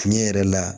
Tiɲɛ yɛrɛ la